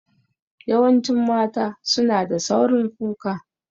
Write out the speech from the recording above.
Yawancin mata su na da saurin kuka